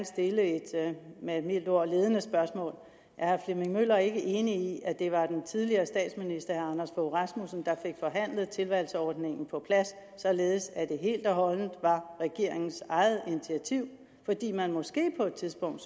stille et med et mildt ord ledende spørgsmål er herre flemming møller ikke enig i at det var den tidligere statsminister anders fogh rasmussen der fik forhandlet tilvalgsordningen på plads således at det helt og holdent var regeringens eget initiativ fordi man måske på et tidspunkt